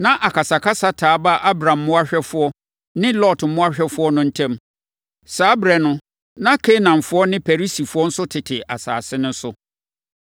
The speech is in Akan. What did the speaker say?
Na akasakasa taa baa Abram mmoahwɛfoɔ ne Lot mmoahwɛfoɔ no ntam. Saa ɛberɛ no na Kanaanfoɔ ne Perisifoɔ nso tete asase no so.